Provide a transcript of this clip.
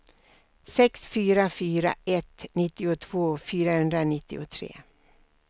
sex fyra fyra ett nittiotvå fyrahundranittiotre